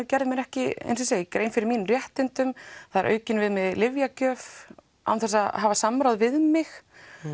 gerði mér ekki grein fyrir mínum réttindum það er aukin við mig lyfjagjöf án þess að hafa samráð við mig